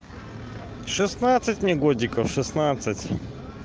шестнадцать мне годиков шестнадцать